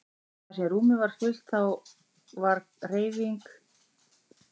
Og þar sem rúmið var fullt þá er hver hreyfing hluti af nokkurs konar hringrás.